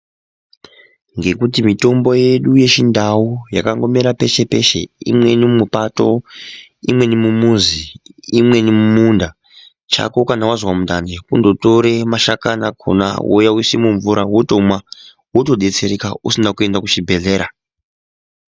Ngekuti mitombo yedu yechindau inomera yeshe yeshe imweni mupato imweni mumuzi imweni mumunda chako kana wanzwa kungotora mashakani akona vokuya voisa mumvura votodetsereka vasina kuenda kuzvibhedhlera.